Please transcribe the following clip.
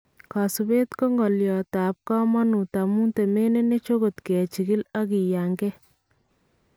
Kasubeet ko ngolyotab kamanut amun temenenech akot kechikil ak kiyankee